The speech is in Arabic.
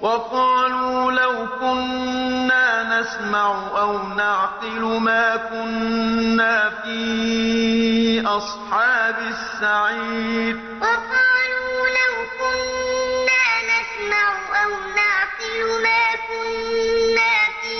وَقَالُوا لَوْ كُنَّا نَسْمَعُ أَوْ نَعْقِلُ مَا كُنَّا فِي أَصْحَابِ السَّعِيرِ وَقَالُوا لَوْ كُنَّا نَسْمَعُ أَوْ نَعْقِلُ مَا كُنَّا فِي